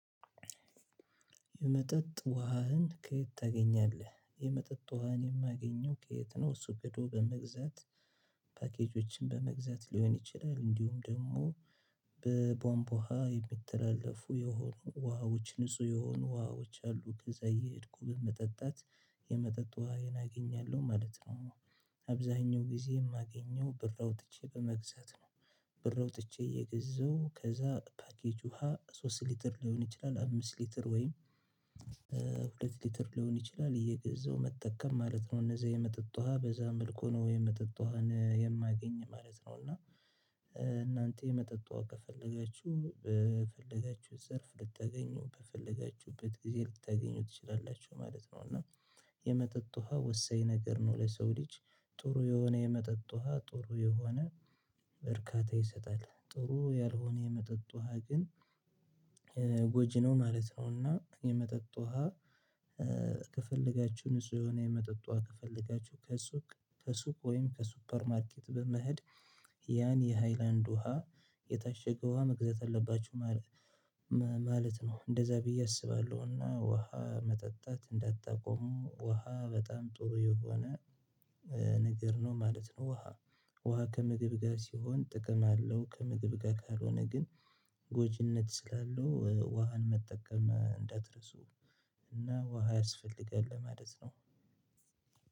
የመጠጥ ውሃህን ከየት ታገኛለህ የመጠጥ ውሃን የማገኘው ከየት ነው? ሱቅ ሄዶ በመግዛት ፓኬጆችን በመግዛት ሊሆን ይችላል እንዲሁም ደግሞ በቧንባ ውሃ የሚተላለፉ የሆኑ ውሃዎች ንጹህ የሆኑ ውሃዎች አሉ ከዚያ እየሄድኩ በመጠጣት የመጠጥ ውሃዬን አገኛለሁ ማለት ነው። አብዛኛውን ጊዜ እማገኘው ብር አውጥቼ በመግዛት ነው። ብር አውጥቼ እየገዛሁ ከዛ ፓኬጅ ውሃ ሶስት ሊትር ሊሆን ይችላል አምስት ሊትር ወይም ሁለት ሊትር ሊሆን ይችላል እየገዛው መጠቀም ማለት ነው። እነዛ የመጠጥ ውሃ በዛ መልኩ ነው የመጠጥ ውሃን የማገኝ ማለት ነው። እና እናንተ የመጠጥ ውሃ ከፈለገችው በፈለጋችሁ ዘርፍ ልታገኙ በፈለጋችሁበት ጊዜ ልታገኙ ትችላላችሁ ማለት ነው። እና የመጠጥ ውሃ ወሳኝ ነገር ነው። ለሰው ልጅ ጥሩ የሆነ የመጠጥ ውሃ ጥሩ የሆነ ዕርካታ ይሰጣል ጥሩ ያልሆነ የመጠጥ ውሃ ግን ጎጂ ነው ማለት ነው። እና የመጠጥ ውሃ ከፈለጋችሁ ንጹህ የሆነ የመጠጥ ውሃ ከፈለጋችሁ ከሱቅ ከሱቅ ወይም ከሱፐር ማርኬት በመሄድ ያን የሃይላንድ ውሃ የታሸገ ውሃ መግዛት አለባችሁ ማለት ማለት ነው። እንደዛ ብዬ አስባለሁና ውሃ መጠጣት እንዳታቆሙ ጠቁሙ ውሃ በጣም ጥሩ የሆነ ነገር ነው ማለት ነው። ውሃ ውሃ ከምግብ ጋር ሲሆን ጥቅም አለው። ከምግብ ጋር ካልሆነ ግን ጎጂነት ስላለው ውሃን መጠቀም እንዳትረሱ። እና ውሃ ያስፈልጋል ለማለት ነው።